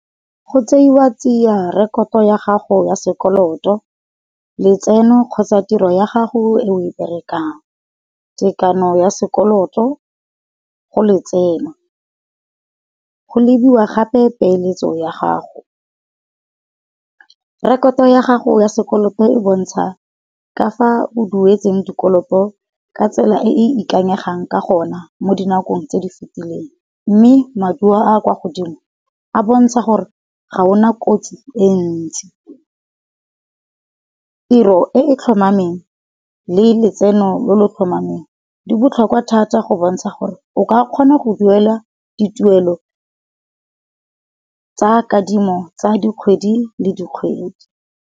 Go tseiwa tsia rekoto ya gago ya sekoloto, letseno kgotsa tiro ya gago e o e berekang, tekano ya sekoloto go letseno. Go lebiwa gape peeletso ya gago. Rekoto ya gago ya sekoloto e bontsha ka fa o duetsweng dikoloto ka tsela e e ikanyegang ka gona mo dinakong tse di fetileng, mme maduo a a kwa godimo a bontsha gore ga ona kotsi e ntsi. Tiro e e tlhomameng le letseno lo lo tlhomameng di botlhokwa thata go bontsha gore o ka kgona go duela dituelo tsa kadimo tsa dikgwedi le dikgwedi.